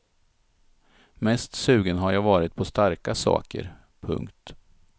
Mest sugen har jag varit på starka saker. punkt